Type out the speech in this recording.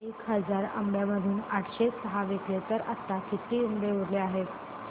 एक हजार आंब्यांमधून आठशे सहा विकले गेले तर आता किती आंबे उरले आहेत